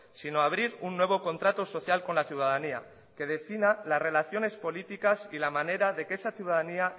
sino abrir un nuevo contrato social con la ciudadanía que defina las relaciones políticas y la manera de que esa ciudadanía